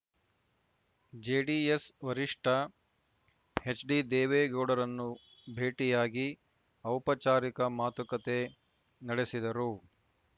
JDS ವರಿಷ್ಠ ಎಚ್‌ಡಿದೇವೇಗೌಡರನ್ನು ಭೇಟಿಯಾಗಿ ಔಪಚಾರಿಕ ಮಾತುಕತೆ ನಡೆಸಿದರು